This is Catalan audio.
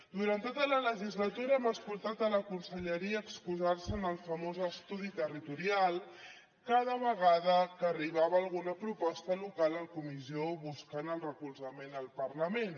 durant tota la legislatura hem escoltat la conselleria excusar se en el famós estudi territorial cada vegada que arribava alguna proposta local en comissió buscant el recolzament al parlament